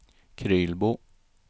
Krylbo